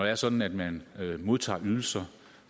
er sådan at man modtager ydelser